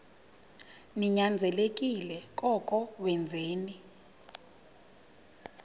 ninyanzelekile koko wenzeni